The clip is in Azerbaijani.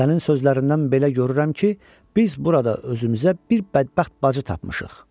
Sənin sözlərindən belə görürəm ki, biz burada özümüzə bir bədbəxt bacı tapmışıq.